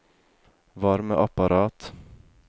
varmeapparat